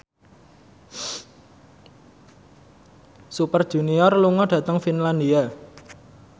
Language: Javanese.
Super Junior lunga dhateng Finlandia